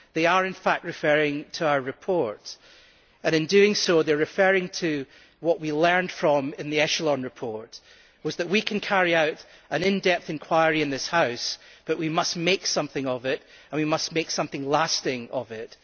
They are in fact referring to our report, and in doing so they are referring to what we learned in the Echelon report, which was that we can carry out an in depth inquiry in this House but that we must make something of it and we must make something lasting of it.